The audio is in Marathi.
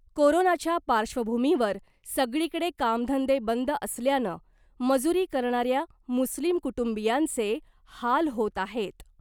कोरोनाच्या पार्श्वभुमीवर सगळीकडे कामधंदे बंद असल्यानं मजूरी करणाऱ्या मुस्लिम कुटुंबीयांचे हाल होत आहेत .